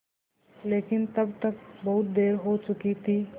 लेकिन तब तक बहुत देर हो चुकी थी